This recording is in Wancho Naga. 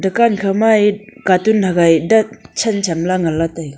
dukan kha maye katun hagai dan chan chanla nganle taiga.